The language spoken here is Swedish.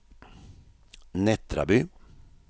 Nättraby